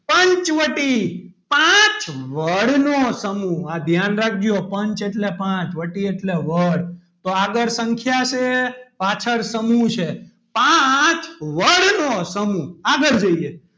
પંચવટી પાંચવડ નો સમૂહ ધ્યાન રાખજો પંચ એટલે પાંચ વટી એટલે વડ તો આગળ સંખ્યા છે પાછળ સમૂહ છે પાંચ વડ નો સમૂહ આગળ જોઈએ.